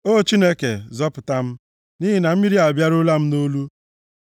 O Chineke, zọpụta m, nʼihi na mmiri abịaruola m nʼolu.